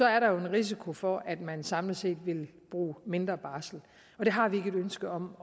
er der en risiko for at man samlet set vil bruge mindre barsel og det har vi ikke et ønske om